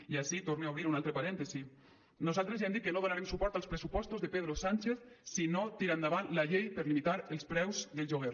i ací torne a obrir un altre parèntesi nosaltres ja hem dit que no donarem suport als pressupostos de pedro sánchez si no tira endavant la llei per limitar els preus del lloguer